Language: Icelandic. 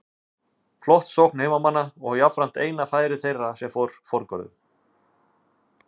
Flott sókn heimamanna og jafnframt eina færi þeirra sem fór forgörðum.